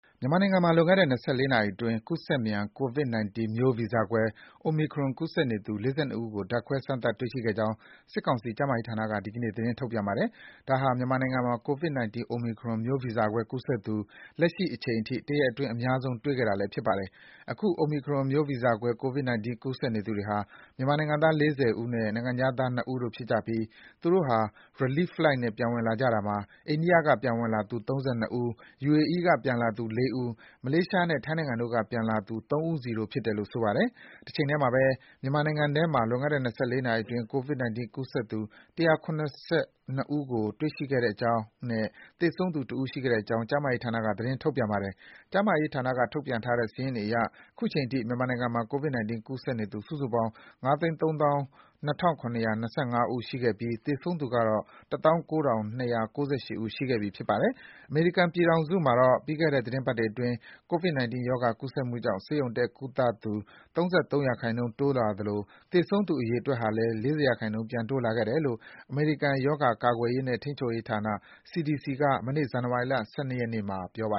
မြန်မာနိုင်ငံမှာ လွန်ခဲ့တဲ့၂၄ နာရီအတွင်း ကူးစက်မြန် ကိုဗစ်-19 မျိုးဗီဇကွဲ Omicron ကူးစက်နေသူ ၄၂ ဦးကို ဓါတ်ခွဲ စမ်းသပ်တွေ့ရှိခဲ့ကြောင်း စစ်ကောင်စီ ကျန်းမာရေးဝန်ကြီးဌာနက ဒီကနေ့ သတင်းထုတ်ပြန်ပါတယ်။ ဒါဟာဖြင့် လက်ရှိအချိန်ထိဆိုရင် Omicron ကူးစက်သူအရေအတွက် ၂၄ နာရီအတွင်း အများဆုံးတွေ့တာဖြစ်ပါတယ်။ အခု Omicron မျိုးဗီဇကွဲ ကိုဗစ်-19 ကူးစက်နေသူတွေဟာ မြန်မာနိုင်ငံသား ၄၀ ဦးနဲ့ နိုင်ငံခြားသား ၂ ဦးတို့ ဖြစ်ကြပြီး သူတို့ဟာ Relief Flight နဲ့ ပြန်ဝင်လာကြတာမှာ အိန္ဒိယက ပြန်လာသူ ၃၂ ဦး၊ ယူအေအီးက ပြန်လာသူ ၄ ဦး၊ မလေးရှားနဲ့ ထိုင်းနိုင်ငံတို့က ပြန်လာသူ ၃ ဦးစီတို့ဖြစ်တယ်လို့ ဆိုပါတယ်။ တချိန်တည်းမှာ မြန်မာနိုင်ငံမှာ လွန်ခဲ့တဲ့၂၄ နာရီအတွင်း ကိုဗစ်-19 ကူးစက်သူ ၁၇၂ ဦး တွေ့ရှိခဲ့ကြောင်းနဲ့ သေဆုံးသူ ၁ ဦး ရှိခဲ့ကြောင်းကျန်းမာရေးဌာနက သတင်းထုတ်ပြန်ပါတယ်။ ကျန်းမာရေးဌာနက ထုတ်ပြန်ထားတဲ့ စာရင်းတွေအရ အခုချိန်ထိ မြန်မာနိုင်ငံမှာ ကိုဗစ်-19 ကူးစက်နေသူ စုစုပေါင်း ၅၃၂,၇၂၅ ဦး ရှိခဲ့ပြီးသေဆုံးသူကတော့ ၁၉,၂၉၈ ဦး ရှိခဲ့ပြီဖြစ်ပါတယ်။ အမေရိကန်ပြည်ထောင်စုမှာတော့ - ပြီးခဲ့တဲ့ သီတင်းပတ်တွေအတွင်း ကိုဗစ် 19 ရောဂါ ကူးစက်မှုကြောင့် ဆေးရုံတက် ကုသသူ ၃၃ % တိုးလာသလို သေဆုံးတဲ့ အရေအတွက်ဟာလည်း ၄၀ %ပြန်တိုးလာခဲ့တယ်လို့ အမေရိကန် ရောဂါ ကာကွယ်ရေးနဲ့ ထိန်းချုပ်ရေးဌာန CDC က မနေ့ ဇန်နဝါရီလ ၁၂ ရက်နေ့မှာ ပြောပါ